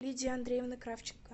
лидии андреевны кравченко